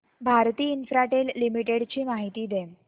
Bharti Infratel limited ची माहिती दे